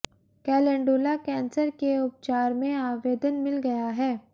calendula cancer के उपचार में आवेदन मिल गया है